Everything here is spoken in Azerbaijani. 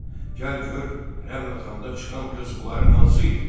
gəl gör rəml atanda çıxan qız bunların hansı idi?